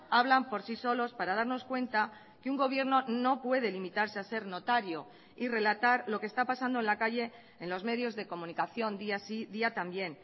hablan por sí solos para darnos cuenta que un gobierno no puede limitarse a ser notario y relatar lo que está pasando en la calle en los medios de comunicación día sí y día también